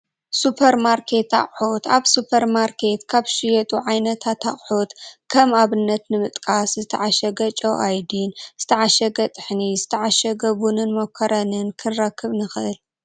ሱፐርማርኬት ኣቑሑት፡- ኣብ ሱፐርማርኬት ካብ ዝሽየጡ ዓይነታት ኣቑሑት ከም ኣብነት ንምጥቃስ ዝተዓሸገ ጨው ኣዮዲን፣ ዝተዓሸገ ጥሕኒ፣ ዝተዓሸገ ቡንን ሞኮረንን ክንረክብ ንኽእል፡፡